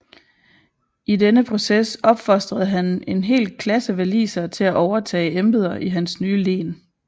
I denne proces opfostrede han en hel klasse walisere til at overtage embeder i hans nye len